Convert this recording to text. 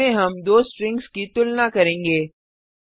इसमें हम दो स्ट्रिंग्स की तुलना करेंगे